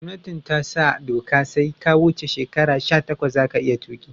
Gomnati tasa doka sai ka wuce shekara sha takwas zaka iya tuki